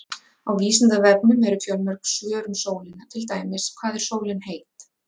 Á Vísindavefnum eru fjölmörg svör um sólina, til dæmis: Hvað er sólin heit?